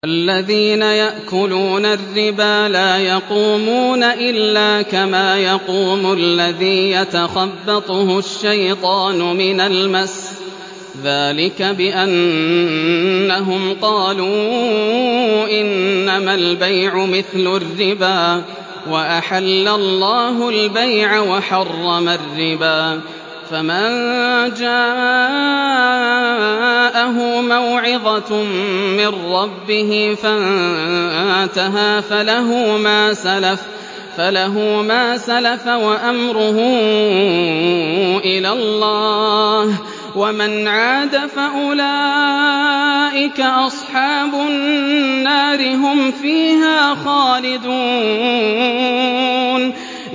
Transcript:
الَّذِينَ يَأْكُلُونَ الرِّبَا لَا يَقُومُونَ إِلَّا كَمَا يَقُومُ الَّذِي يَتَخَبَّطُهُ الشَّيْطَانُ مِنَ الْمَسِّ ۚ ذَٰلِكَ بِأَنَّهُمْ قَالُوا إِنَّمَا الْبَيْعُ مِثْلُ الرِّبَا ۗ وَأَحَلَّ اللَّهُ الْبَيْعَ وَحَرَّمَ الرِّبَا ۚ فَمَن جَاءَهُ مَوْعِظَةٌ مِّن رَّبِّهِ فَانتَهَىٰ فَلَهُ مَا سَلَفَ وَأَمْرُهُ إِلَى اللَّهِ ۖ وَمَنْ عَادَ فَأُولَٰئِكَ أَصْحَابُ النَّارِ ۖ هُمْ فِيهَا خَالِدُونَ